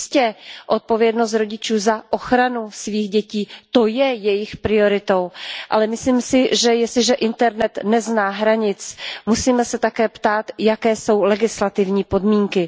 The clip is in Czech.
Jistě, odpovědnost rodičů za ochranu svých dětí, to je jejich prioritou, ale myslím si, že jestliže internet nezná hranic, musíme se také ptát, jaké jsou legislativní podmínky.